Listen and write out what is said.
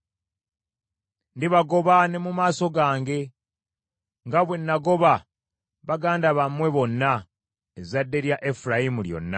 Ndibagoba ne mu maaso gange, nga bwe nagoba baganda bammwe bonna, ezzadde lya Efulayimu lyonna.